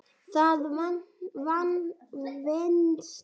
Það venst.